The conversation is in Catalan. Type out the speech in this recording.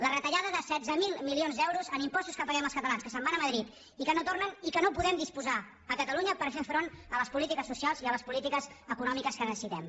la retallada de setze mil milions d’euros en impostos que paguem els catalans que se’n van a madrid i que no tornen i que no en podem disposar a catalunya per fer front a les polítiques socials i a les polítiques econòmiques que necessitem